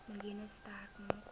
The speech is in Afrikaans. miljoen sterk maak